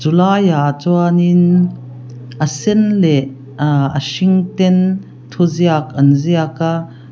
chu laiah chuanin a sen leh ah a hring ten thu ziak an ziak a.